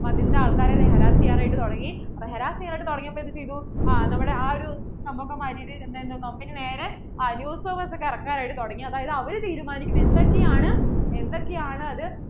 അതിൻ്റെ ആൾക്കാരെ harass ചെയ്യാൻ ആയിട്ട് തുടങ്ങി harass ചെയ്യാൻ ആയിട്ട് തുടങ്ങിയപ്പോൾ എന്ത് ചെയ്‌തു ആ ഒരു സംഭവം ഒക്കെ മാറ്റിയിട്ട് company നേരെ ആ news hour ഒക്കെ ഇറക്കാൻ ആയിട്ട് തുടങ്ങി അതായത് അവർ തീരുമാനിക്കും എന്തൊക്കെ ആണ് എന്തൊക്കെ ആണ് അത്